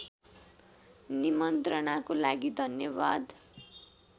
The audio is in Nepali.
निमन्त्रणाको लागि धन्यवाद